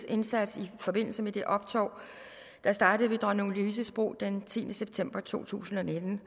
indsats i forbindelse med det optog der startede fra dronning louises bro den tiende september to tusind og nitten